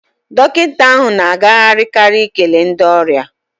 Dọkịta ahụ na agagharị karị ikele ndị ọrịa.